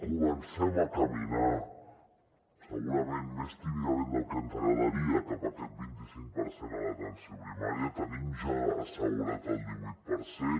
comencem a caminar segurament més tímidament del que ens agradaria cap a aquest vint i cinc per cent a l’atenció primària tenim ja assegurat el divuit per cent